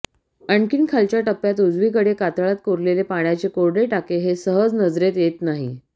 आणखी खालच्या टप्प्यात उजवीकडे कातळात कोरलेले पाण्याचे कोरडे टाके हे सहजी नजरेत येत नाही